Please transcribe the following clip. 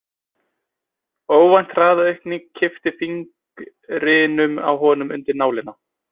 Óvænt hraðaaukningin kippti fingrinum á honum undir nálina.